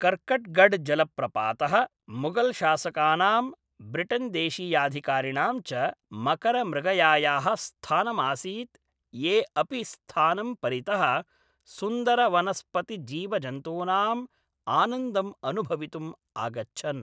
कर्कट्गढ् जलप्रपातः मुगल्शासकानां, ब्रिटेन् देशीयाधिकारिणां च मकरमृगयायाः स्थानम् आसीत् ये अपि स्थानं परितः सुन्दरवनस्पतिजीवजन्तूनाम् आनन्दम् अनुभवितुम् आगच्छन्।